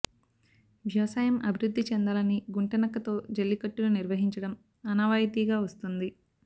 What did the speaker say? వ్యవసాయం అభివృద్ధి చెందాలని గుంట నక్కతో జల్లికట్టును నిర్వహించడం ఆనవాయితీగా వస్తోంది